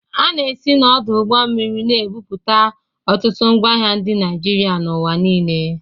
A na-esi n'ọdụ ụgbọ mmiri na-ebupụ ọtụtụ ngwaahịa ndị Naịjirịa n'ụwa niile.